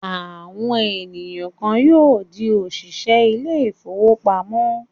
Àwọn ènìyàn kan yóò di òṣìṣẹ́ ilé-ìfowópamọ́sí.